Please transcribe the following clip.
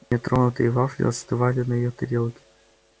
нетронутые вафли остывали на её тарелке